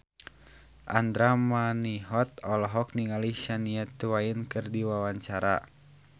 Andra Manihot olohok ningali Shania Twain keur diwawancara